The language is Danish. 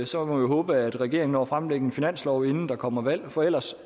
så håbe at regeringen når at fremlægge en finanslov inden der kommer valg for ellers